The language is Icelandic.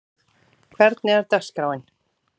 Dýrleif, hvernig er dagskráin?